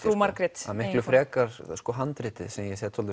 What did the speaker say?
frú Margrét miklu frekar handritið sem ég set